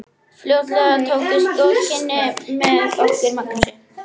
Fljótlega tókust góð kynni með okkur Magnúsi.